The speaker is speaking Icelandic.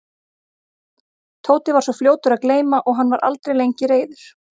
Tóti var svo fljótur að gleyma og hann var aldrei lengi reiður.